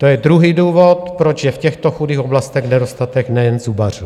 To je druhý důvod, proč je v těchto chudých oblastech nedostatek nejen zubařů.